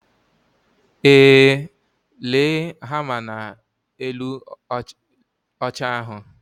Ee, lee hama na elu oche ahu